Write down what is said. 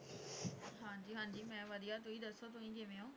ਹਾਂ ਜੀ ਹਾਂ ਜੀ ਮੈਂ ਵਧੀਆ ਤੁਸੀਂ ਦੱਸੋ, ਤੁਸੀ ਕਿਵੇਂ ਹੋ